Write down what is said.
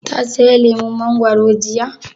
Ta saya lemun mangoro jiya?